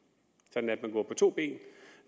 sådan at man går på to ben